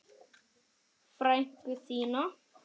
Frænku þína?